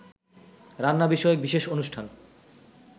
রান্না বিষয়ক বিশেষ অনুষ্ঠান